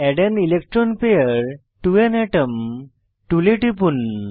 add an electron pair to an atom টুলে টিপুন